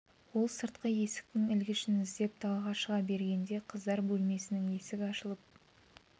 ол сыртқы есіктің ілгішін іздеп далаға шыға бергенде қыздар бөлмесінің есігі ашылып